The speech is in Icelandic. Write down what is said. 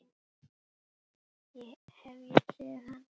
Hef ég séð hann?